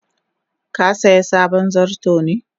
ka siya sabon zarto ne?